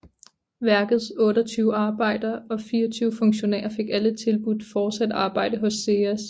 Værkets 28 arbejdere og 24 funktionærer fik alle tilbudt fortsat arbejde hos SEAS